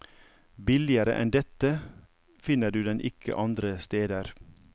Billigere enn dette finner du den ikke andre steder.